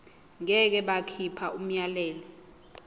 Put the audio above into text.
ngeke bakhipha umyalelo